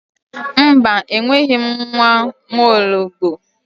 Mba enweghi m nwa nwaologbo